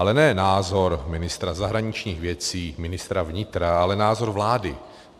Ale ne názor ministra zahraničních věcí, ministra vnitra, ale názor vlády.